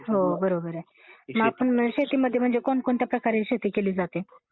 हो बरोबर आहे. शेतीमध्ये मग म्हणजे कोणत्या कोणत्या प्रकारे शेती केली जाते.